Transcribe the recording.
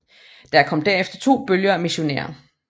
Der kom derefter to bølger af missionærer